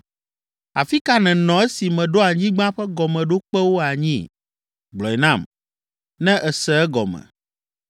“Afi ka nènɔ esi meɖo anyigba ƒe gɔmeɖokpewo anyi? Gblɔe nam, ne èse egɔme.